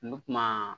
N bɛ kuma